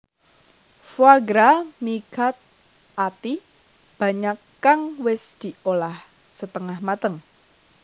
Foie gras mi cut Ati banyak kang wis diolah setengah mateng